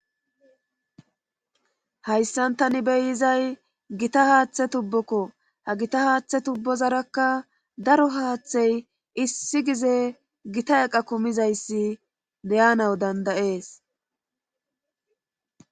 Hayssan tani beyizay gita haaththe tubbokko ha gita haaththe tubbozarakka daro haaththey issi gize gita eqa kumizayssi deyanaw dandayees